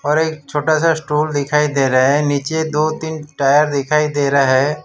और एक छोटा सा स्टूल दिखाई दे रहा है नीचे दो तीन टायर दिखाई दे रहा है।